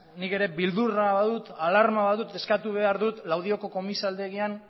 nik ere beldurra badut alarma badut eskatu behar dut laudioko komisaldegian